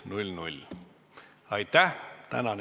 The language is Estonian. Tänane istung on lõppenud.